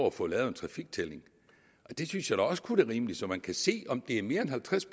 at få lavet en trafiktælling det synes jeg da også kun er rimeligt så man kan se om det er mere end halvtreds